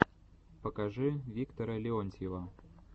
покажи виктора леонтьева